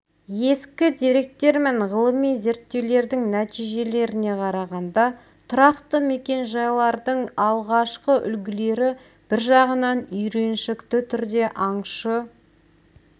ескі деректер мен ғылыми зерттеулердің нәтижелеріне қарағанда тұрақты мекен-жайлардың алғашқы үлгілері бір жағынан үйреншікті түрде аңшы